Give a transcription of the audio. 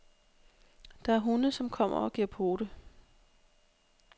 Der er hunde, som kommer og giver pote.